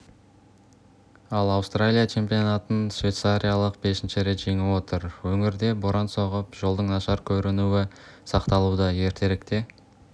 ал аустралия чемпионатын швейцариялық бесінші рет жеңіп отыр өңірде боран соғып жолдың нашар көрінуі сақталуда ертеректе